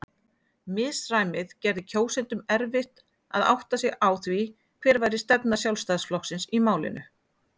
Misræmið gerði kjósendum erfitt að átta sig á því hver væri stefna Sjálfstæðisflokksins í málinu.